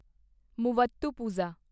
Muvattupuzha